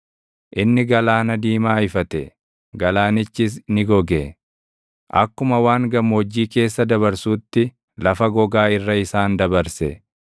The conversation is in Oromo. Inni Galaana Diimaa ifate; galaanichis ni goge; akkuma waan gammoojjii keessa dabarsuutti lafa gogaa irra isaan dabarse.